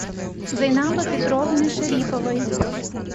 зайнаба петровны шариповой